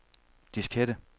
diskette